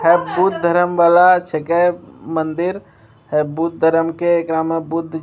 है बुद्ध धर्म वाला छेके मंदिर है बुद्ध धर्म के एकरा में बुद्ध --